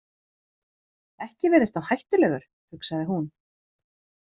Ekki virðist hann hættulegur, hugsaði hún.